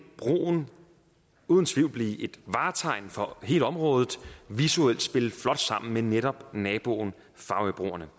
broen uden tvivl blive et vartegn for hele området og visuelt spille flot sammen med netop naboen farøbroerne